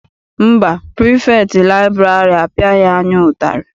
Mba, pirifektị liburary apiaghi anyị ụtarị.